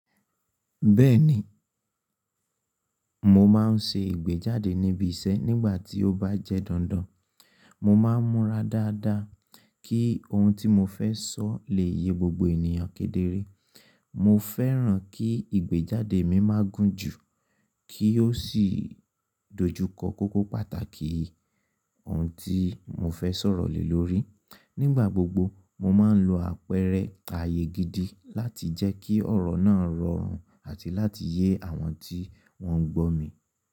Bẹ́ẹ̀ni, mo máa ń se ìgbéjáde níbi isẹ́ nígbà tí ó bá jẹ́ dandan. Mo máa ń múra dáadáa kí ohun tí mo fẹ́ sọ lè yé gbogbo ènìyàn kedere. Mo fẹ́ràn kí ìgbéjáde mi má gún ju, kí ó sì dojúkọ kókó pàtàkì ohun tí mo fẹ́ sọ̀rọ̀ lè lórí. Nígbà gbogbo, mo máa ń lo àpẹẹrẹ àyè gidi láti jẹ́ kí ọ̀rọ̀ náà rọrùn àti láti yé àwọn tí wọ́n ń gbọ́ mi.